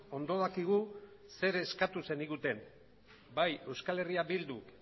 ondo dakigu zer eskatu zeniguten bai euskal herria bilduk